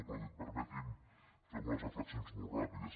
però permeti’m fer unes reflexions molt ràpides